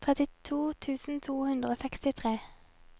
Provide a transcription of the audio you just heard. trettito tusen to hundre og sekstitre